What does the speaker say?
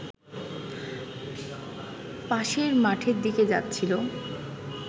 পাশের মাঠের দিকে যাচ্ছিল